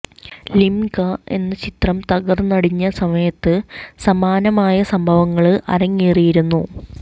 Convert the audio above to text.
lingua എന്ന ചിത്രം തകര്ന്നടിഞ്ഞ സമയത്ത് സമാനമായ സംഭവങ്ങള് അരങ്ങേറിയിരുന്നു